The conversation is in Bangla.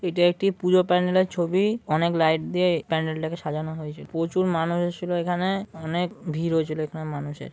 এটি একটি পুজো প্যান্ডেল এর ছবি। অনেক লাইট দিয়ে এই প্যান্ডেল -টাকে সাজানো হয়েছে। প্রচুর মানুষ এসেছিল এখানে অনেক ভিড় হয়েছিল এখানে মানুষের।